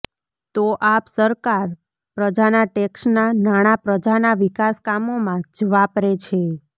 તો આપ સરકાર પ્રજાના ટેક્સના નાણાં પ્રજાના વિકાસ કામોમાં જ વાપરે છે